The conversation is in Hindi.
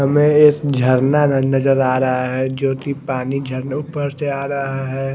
हमे एक झरना नजर आ रहा है जोकि पानी झरनों पर से आ रहा है।